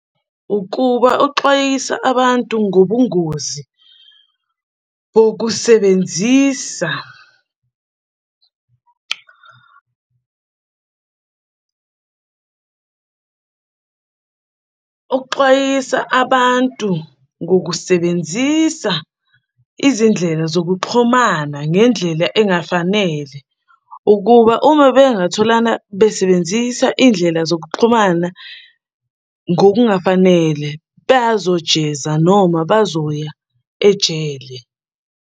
Ukuba uxwayisa abantu ngobungozi bokusebenzisa . Uxwayisa abantu ngokusebenzisa izindlela zokuxhumana ngendlela engafanele ukuba uma bengathola lana besebenzisa iy'ndlela zokuxhumana ngokungafanele bazojeza noma bazoya ejele.